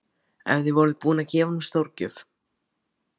En þið voruð búin að gefa honum stórgjöf.